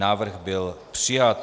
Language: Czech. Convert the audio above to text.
Návrh byl přijat.